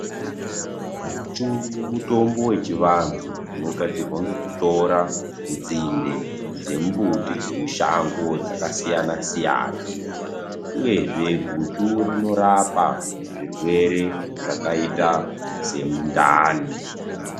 Guchu muthombo wechivanhu unogadzirwa ngekuthora nzinde dzemumbuti dzemushango dzakasiyanasiyana yezve guchu rinorapa zvirwere zvakaita semundani.